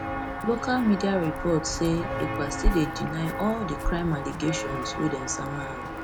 local mediayle report say ekpastill dey deny all di crime allegations allegations wey dem sama am